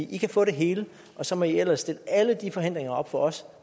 i kan få det hele og så må i ellers stille alle de forhindringer op for os